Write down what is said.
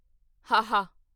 ਹਾਹਾ